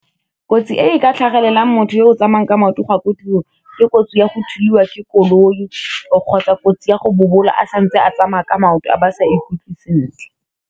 Kotsi e ka tlhagelelang motho yo o tsamayang ka maoto go ya ko tirong, ke kotsi ya go thulwa ke koloi o kgotsa kotsi ya go bobola a santse a tsamaya ka maoto a ba sa ikutlwe sentle.